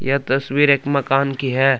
यह तस्वीर एक मकान की है।